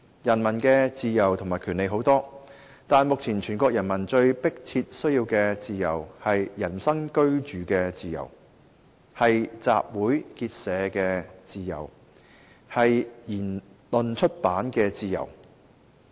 人民的自由和權利很多，但目前全國人民最迫切需要的自由，是人身居住的自由，是集會結社的自由，是言論出版的自由。